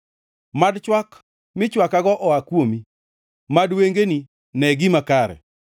Mad chwak michwakago oa kuomi; mad wengeni nee gima kare.